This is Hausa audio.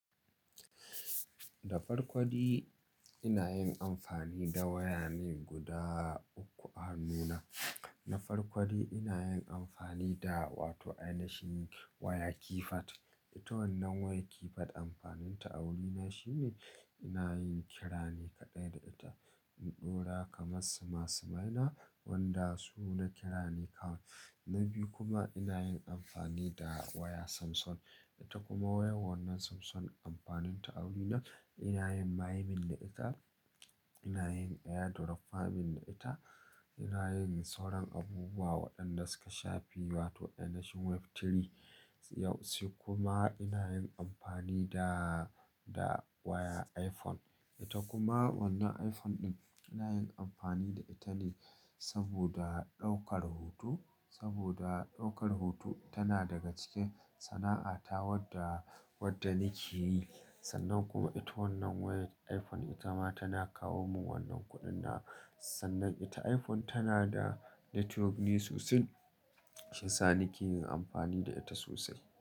Da farko dai ina yin amfani da waya ne guda uku a hannuna. Na farko ina yin amfani da wato ina shiga waya keypad. Ita wannan wayar keypad amfaninta a wurina shine ina yin kira ne kaɗai da ita. In ɗora kamar suma sumaina wanda su na kira ni kawai. Na biyu kuma ina yin amfani da waya Samsung. Ita kuma wayar wannan Samsung amfaninta a wurina ina yin mining da ita, ina yin airdrop farming da ita, ina yin sauran abubuwa waɗanda suka shafi wato aina shin web3. Sai kuma ina yin amfani da, da waya iPhone. Ita kuma wannan iPhone ɗin ina yin amfani da ita ne saboda ɗaukar hoto. Saboda ɗaukar hoto tana daga cikin sana'ata wadda, wadda nake yi. Sannan kuma ita wannan wayar iPhone ita ma tana kawo min wannan kuɗin da. Sannan ita iPhone tana da network ne sosai shiyasa nake yin amfani da ita sosai.